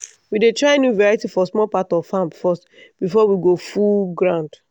we dey try new variety for small part of farm first before we go full ground.